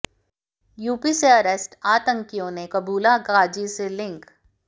UP से arrest आतंकियों ने कबूला गाजी से लिंक